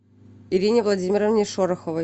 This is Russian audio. ирине владимировне шороховой